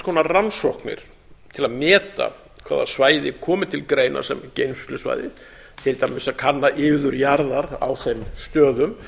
konar rannsóknir til að meta hvaða svæði komi til greina sem geymslusvæði til dæmis að kanna iður jarðar á þeim stöðum